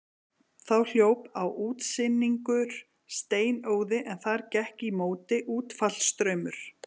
Þá hljóp á útsynningur steinóði en þar gekk í móti útfallsstraumur.